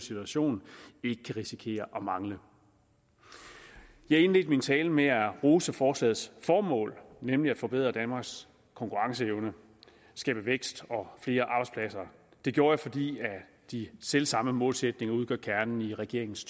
situation ikke kan risikere at mangle jeg indledte min tale med at rose forslagets formål nemlig at forbedre danmarks konkurrenceevne og skabe vækst og flere arbejdspladser det gjorde jeg fordi de selv samme målsætninger udgør kernen i regeringens